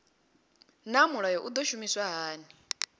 naa mulayo u do shumiswa hani